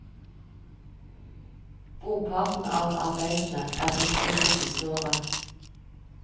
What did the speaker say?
Brorparten av arbeidene er blitt til det siste året.